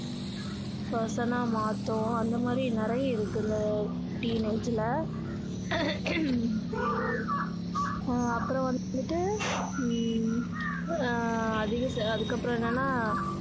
person னா மாத்தும் அந்த மாதிரி நிறைய இருக்கு இந்த teenage ல அஹ் அப்பறோம் வந்துட்டு ஹம் ஆஹ் அதிக அதுக்கு அப்பறோம் ஏன்னன்னா